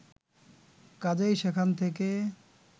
কাজেই সেখান থেকে